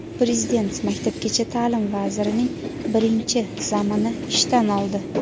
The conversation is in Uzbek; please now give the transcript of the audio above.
Prezident Maktabgacha ta’lim vazirining birinchi "zam"ini ishdan oldi.